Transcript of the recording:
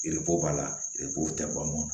b'a la tɛ ban